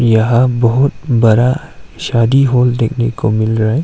यहां बहुत बरा शादी हॉल देखने को मिल रा--